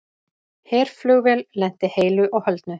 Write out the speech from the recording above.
Herflugvél lenti heilu og höldnu